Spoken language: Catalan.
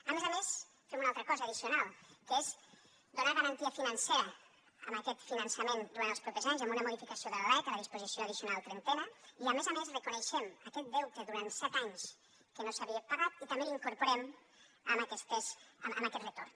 a més a més fem una altra cosa addicional que és donar garantia financera a aquest finançament durant els propers anys amb una modificació de la lec a la disposició addicional trentena i a més a més reconeixem aquest deute durant set anys que no s’havia pagat i també l’incorporem a aquest retorn